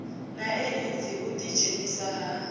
na eidzi u ḓidzhenisa ha